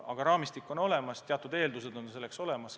Aga raamistik on olemas, teatud eeldused on olemas.